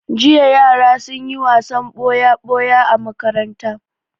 Jiya yara sun yi wasan ɓoya-ɓoya a makaranta.